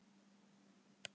Olía lækkar í verði